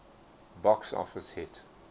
box office hit